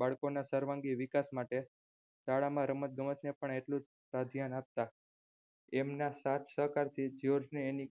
બાળકોના સર્વાંગી વિકાસ માટે શાળામાં રમત ગમતને એટલુંજ પ્રાધાન્ય આપતા એમના સાથ સહકારથી જ્યોર્જ ને એની